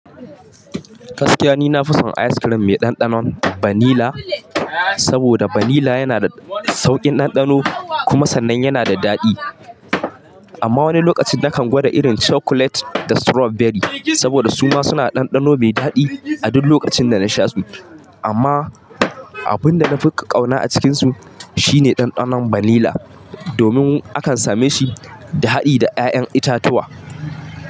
Gaskiya ni na fi son ice cream mai ɗanɗanon banila, saboda banila yana da sauƙin ɗanɗano kuma sannan yana da daɗi. Amma wani lokaci na kan gwada irin chocolate da strawberry saboda su ma suna da ɗanɗano mai daɗi a duk lokacin da na sha su. Amma abin da na fi ƙauna a cikinsu shine ɗanɗanon banila domin akan same shi da haɗi da ƴaƴan itatuwa.